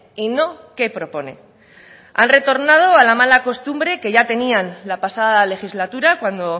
y no qué propone han retornado a la mala costumbre que ya tenían la pasada legislatura cuando